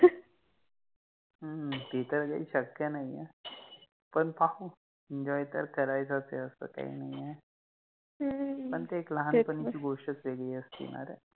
ह्म्म्म ते तर काहि शक्य नाहि आहे, पण पाहु, Enjoy तर करायचच आहे, अस काहि नाहि, पण ते एक लहानपणि चि गोष्टच वेगळि असते ना रे